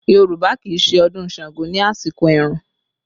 Yorùbá kì í ṣe ọdún Ṣàngó ní àsìkò ẹ̀rùn